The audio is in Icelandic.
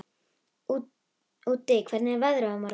Úddi, hvernig er veðrið á morgun?